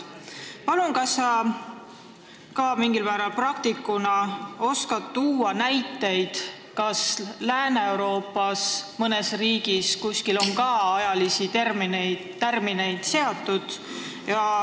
Kas sa mingil määral praktikuna oskad tuua näiteid, kas mõnes Lääne-Euroopa riigis on tärmineid seatud?